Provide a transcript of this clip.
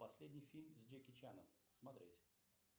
последний фильм с джеки чаном смотреть